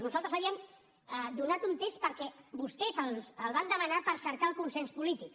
nosaltres havíem donat un temps perquè vostès el van demanar per cercar el consens polític